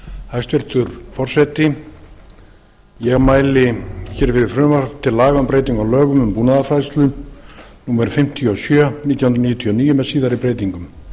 hæstvirtur forseti ég mæli fyrir frumvarpi til laga um breytingu á lögum um búnaðarfræðslu númer fimmtíu og sjö nítján hundruð níutíu og níu með síðari breytingum